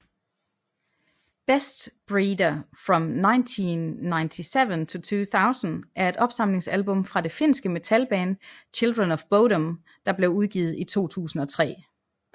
Bestbreeder From 1997 to 2000 er et opsamlingsalbum fra det finske metalband Children of Bodom der blev udgivet i 2003